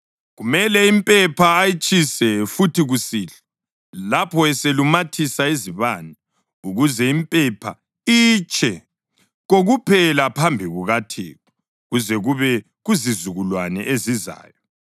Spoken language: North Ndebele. Kumele impepha ayitshise futhi kusihlwa lapho eselumathisa izibane ukuze impepha itshe kokuphela phambi kukaThixo kuze kube kuzizukulwane ezizayo.